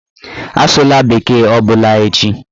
Asụla bekee ọbụla echi!